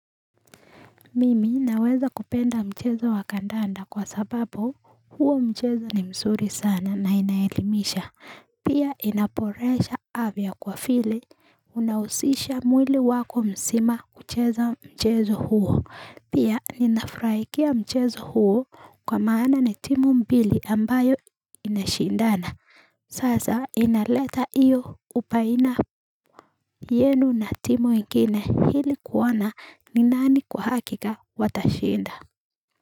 Mimi naweza kupenda mchezo wa kandanda kwa sababu huo mchezo ni mzuri sana na inaelimisha. Pia inaboresha afya kwa vile unahusisha mwili wako msima kucheza mchezo huo. Pia ninafurahikia mchezo huo kwa maana ni timu mbili ambayo inashindana. Sasa inaleta hiyo ubaina yenu na timu ingine ili kuona ni nani kwa hakika watashinda.